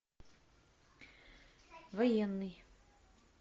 военный